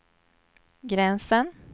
gränsen